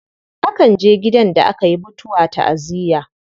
Akan je gidan da aka yi mutuwa ta'aziyya.